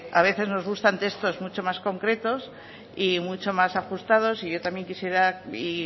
a veces nos gusta ante estos mucho más concretos y mucho más ajustados y yo también quisiera y